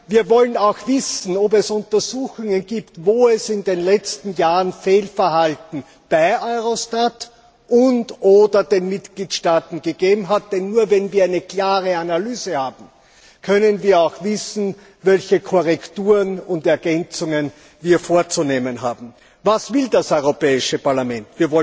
Wir wollen auch wissen, ob es Untersuchungen gibt, wo es in den letzten Jahren Fehlverhalten bei Eurostat und oder den Mitgliedstaaten gegeben hat, denn nur wenn wir eine klare Analyse haben, können wir auch wissen, welche Korrekturen und Ergänzungen wir vorzunehmen haben. Was will das Europäische Parlament?